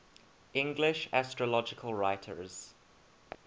english astrological writers